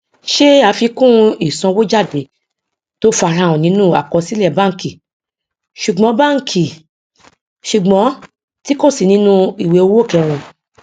ṣe àfikún ìsanwójáde tó farahàn nínú àkọsílẹ bánkì sùgbọn bánkì sùgbọn tí kò sí nínú ìwé owó kẹrin